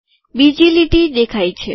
બીજી લીટી દેખાય છે